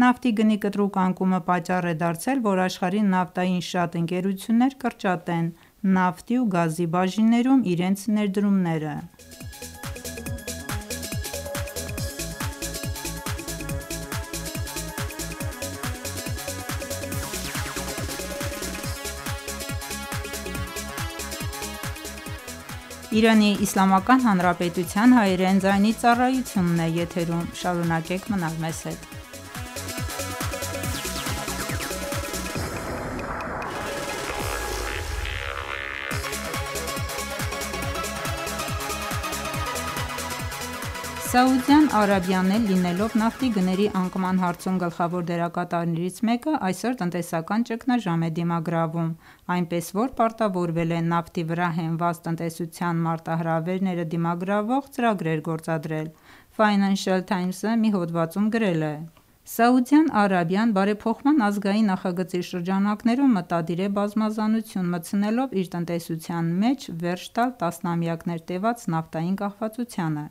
Նավթի գնի կտրուկ անկումը պատճառ է դարձել, որ աշխարհի նավթային շատ ընկերություններ կրճատեն նավթի ու գազի բաժիններում իրենց ներդրումները: Սաուդյան Արաբիան էլ լինելով նավթի գների անկման հարցում գլխավոր դերակատարներից մեկը, այսօր տնտեսական ճգնաժամ է դիմագրավում, այնպես որ պարտավորվել է նավթի վրա հենված տնտեսության մարտահրավերները դիմագրավող ծրագրեր գործադրել: «Ֆայնանշըլ Թայմզ»-ը մի հոդվածում գրել է. «Ս․ Արաբիան Բարեփոխման ազգային նախագծի շրջանակներում մտադիր է բազմազանություն մտցնելով իր տնտեսության մեջ վերջ տալ տասնամյակներ տևած նավթային կախվածությանը»: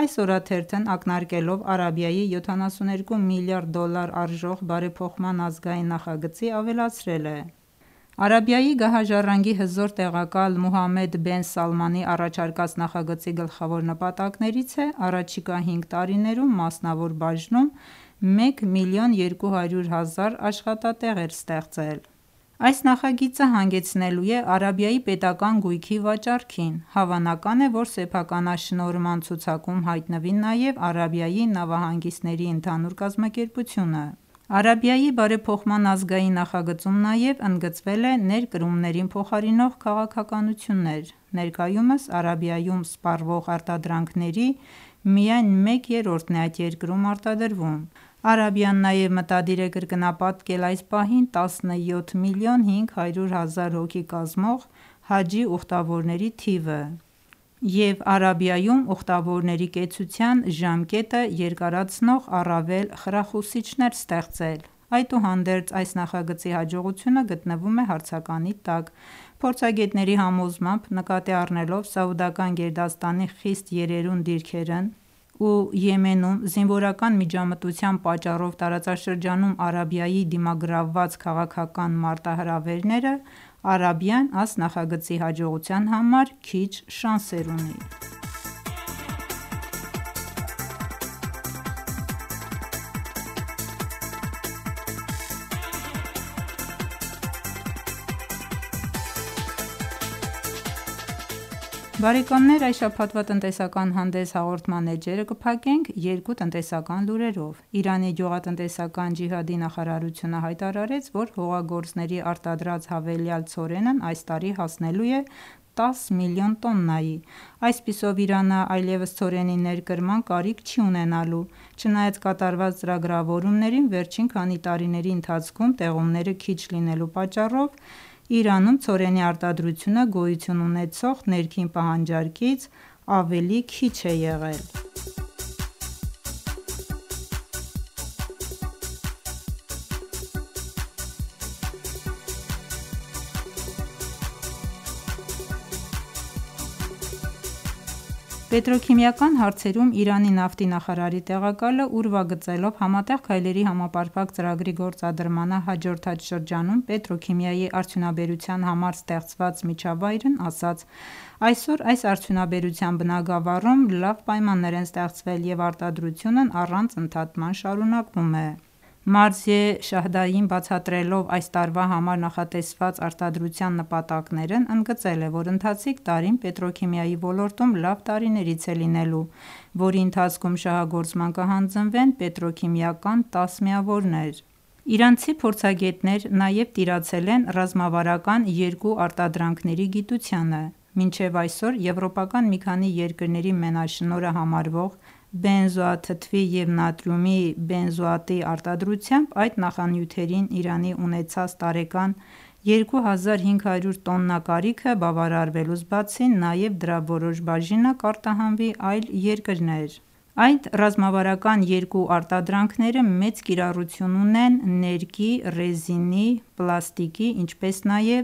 Այս օրաթերթն ակնարկելով Արաբիայի 72 միլիարդ դոլար արժող Բարեփոխման ազգային նախագծի, ավելացրել է, որ Արաբիայի գահաժառանգի հզոր տեղակալ Մոհամմեդ Բեն Սալմանի առաջարկած նախագծի գլխավոր նպատակներից է առաջիկա հինգ տարիներում մասնավոր բաժնում մեկ միլիոն 200 հազար աշխատատեղեր ստեղծել: Այս նախագիծը հանգեցնելու է Արաբիայի պետական գույքի վաճառքին: Հավանական է, որ սեփականաշնորհման ցուցակում հայտնվի նաև Արաբիայի նավահանգիստների ընդհանուր կազմակերպությունը: Արաբիայի Բարեփոխման ազգային նախագծում նաև ընդգծվել է ներկրումներին փոխարինող քաղաքականություններ:Ներկայումս Արաբիայում սպառվող արտադրանքների միայն մեկ երրորդն է այդ երկրում արտադրվում: Արաբիան նաև մտադիր է կրկնապատկել այս պահին 17 միլիոն 500 հազար հոգի կազմող Հաջի ուխտավորների թիվը և Արաբիայում ուխտավորների կեցության ժամկետը երկարացնող առավել խրախուսիչներ ստեղծել: Այդուհանդերձ այս նախագծի հաջողությունը գտնվում է հարցականի տակ: Փորձագետների համոզմամբ նկատի առնելով Սաուդական գերդաստանի խիստ երերուն դիրքերն ու Եմենում զինվորական միջամտության պատճառով տարածաշրջանում Արաբիայի դիմագրաված քաղաքական մարտահրավերները, Արաբիան այս նախագծի հաջողության համար քիչ շանսեր ունի: Բարեկամներ այս շաբաթվա «Տնտեսական հանդես» հաղորդման էջերը կփակենք երկու տնտեսական լուրերով: Իրանի գյուղատնտեսական ջիհադի նախարարությունը հայտարարեց, որ հողագործների արտադրած հավելյալ ցորենն այս տարի հասնելու է 10 միլիոն տոննայի: Այսպիսով Իրանն այլևս ցորենի ներկրման կարիք չի ունենալու: Չնայած կատարված ծրագրավորումներին, վերջին քանի տարիների ընթացքում տեղումները քիչ լինելու պատճառով Իրանում ցորենի արտադրությունը գոյություն ունեցող ներքին պահանջարկից ավելի քիչ է եղել: Պետրոքիմիական հարցերում Իրանի նավթի նախարարի տեղակալը ուրվագծելով Համատեղ քայլերի համապարփակ ծրագրի գործադրմանը հաջորդած շրջանում պետրոքիմիայի արդյունաբերության համար ստեղծված միջավայրն ասաց. «Այսօր այս արդյունաբերության բնագավառում լավ պայմաններ են ստեղծվել և արտադրությունն առանց ընդհատման շարունակվում է»: Մարզիե Շահդային բացատրելով այս տարվա համար նախատեսված արտադրության նպատակներն, ընդգծել է, որ ընթացիկ տարին պետրոքիմիայի ոլորտում լավ տարիներից է լինելու, որի ընթացքում շահագործման կհանձնվեն պետրոքիմիական 10 միավորներ: Իրանցի փորձագետներ նաև տիրացել են ռազմավարական երկու արտադրանքների գիտությանը: Մինչև այսօր եվրոպական մի քանի երկրների մենաշնորհը համարվող Բենզոաթթվի և նատրիումի բենզոատի արտադրությամբ, այդ նախանյութերին Իրանի ունեցած տարեկան 2500 տոննա կարիքը բավարարվելուց բացի, նաև դրա որոշ բաժինը կարտահանվի այլ երկրներ: Այդ ռազմավարական երկու արտադրանքները մեծ կիրառություն ունեն ներկի, ռեզինի ու պլաստիկի, ինչպես նաև